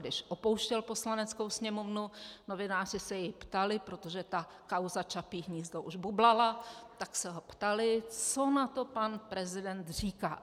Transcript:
Když opouštěl Poslaneckou sněmovnu, novináři se jej ptali, protože ta kauza Čapí hnízdo už bublala, tak se ho ptali, co na to pan prezident říká.